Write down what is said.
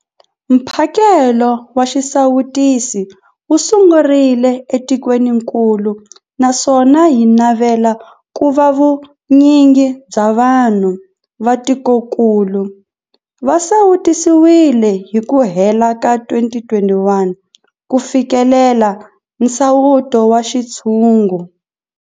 Mphakelo wa xisawutisi wu sungurile etikwenikulu naswona hi navela ku va vu nyingi bya vanhu va tikokulu va sawutisiwile hi ku hela ka 2021 ku fikelela nsawuto wa xintshungu.